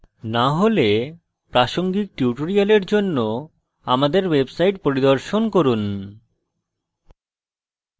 না হলে প্রাসঙ্গিক tutorial জন্য আমাদের website পরিদর্শন করুন